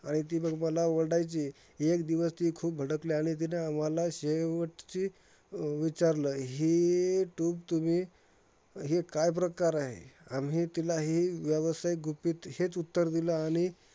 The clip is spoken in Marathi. आणि ती मग मला ओरडायची. एक दिवस ती खूप भडकली आणि तिने आम्हाला शेवटची विचारलंं, हे tube तुम्ही हे काय प्रकार आहे? आम्ही तिला हे व्यावसायिक गुपित, हेच उत्तर दिलं. आणि